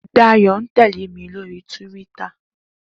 Dayo n tèlé mi lóri túwìtá